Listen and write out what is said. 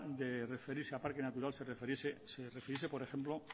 de referirse a parque natural se refiriese por ejemplo